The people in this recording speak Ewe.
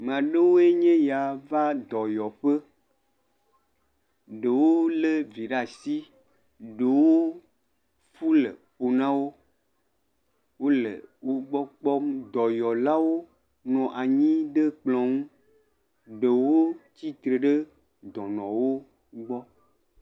Maa ɖewoe nye ya va dɔyɔƒe. Ɖewo lé vi ɖaa shi. Ɖewo lé kpo na wo. Wole wogbɔ kpɔm. Dɔyɔlawo nɔ anyi ɖe kplɔ̃ ŋu. Ɖewo tsi tre ɖe dɔnɔwo gbɔ.